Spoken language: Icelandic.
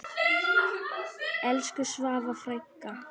Elsku Svava frænka.